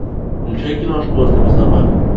включай киношку остров собак